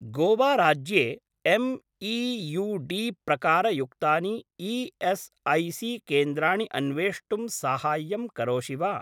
गोवा राज्ये एम्.ई.यू.डी. प्रकारयुक्तानि ई.एस्.ऐ.सी.केन्द्राणि अन्वेष्टुं साहाय्यं करोषि वा?